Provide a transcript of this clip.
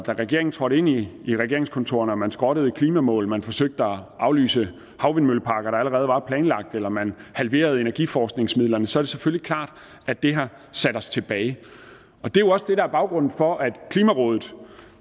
regeringen trådte ind i i regeringskontorerne og man skrottede klimamål man forsøgte at aflyse havvindmølleparker der allerede var planlagt eller man halverede energiforskningsmidlerne så er det selvfølgelig klart at det har sat os tilbage det er jo også det der er baggrunden for at klimarådet